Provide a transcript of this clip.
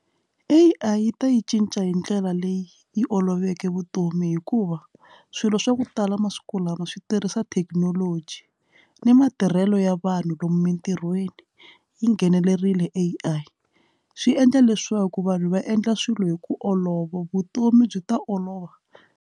A_I yi ta yi cinca hi ndlela leyi yi oloveke vutomi hikuva swilo swa ku talamasiku lama swi tirhisa thekinoloji ni matirhelo ya vanhu lomu entirhweni yi nghenelerile A_I swi endla leswaku vanhu va endla swilo hi ku olova vutomi byi ta olova.